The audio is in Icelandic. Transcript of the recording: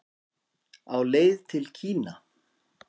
Á leið til Kína